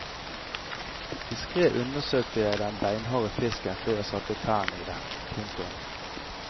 Diskret undersøkte jeg den beinharde fisken før jeg satte tennene i den. punktum